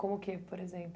Como o que, por exemplo?